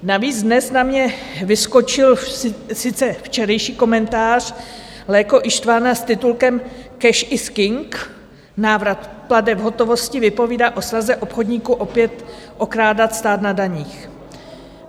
Navíc dnes na mě vyskočil sice včerejší komentář Léko Istvána s titulkem Cash is king. Návrat plateb v hotovosti vypovídá o snaze obchodníků opět okrádat stát na daních.